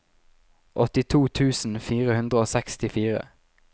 åttito tusen fire hundre og sekstifire